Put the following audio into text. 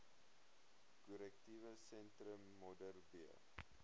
korrektiewe sentrum modderbee